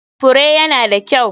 Fure ya na da kyau.